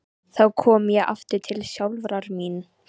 Þá kom ég aftur til sjálfrar mín.